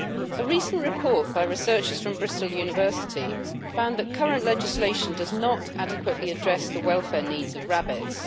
A recent report by researchers from Bristol University found that current legislation does not adequately address the welfare needs of rabbits.